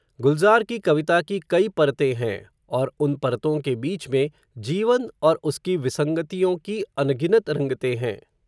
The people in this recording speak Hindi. गुलज़ार की कविता की कई परतें हैं, और उन परतों के बीच में, जीवन, और उसकी विसंगतियों की अनगिनत रंगते हैं